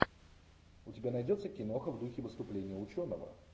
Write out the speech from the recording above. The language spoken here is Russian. у тебя найдется киноха в духе выступление ученого